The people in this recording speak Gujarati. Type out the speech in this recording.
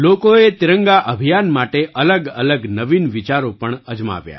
લોકોએ તિરંગા અભિયાન માટે અલગઅલગ નવીન વિચારો પણ અજમાવ્યા